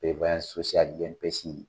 INPS.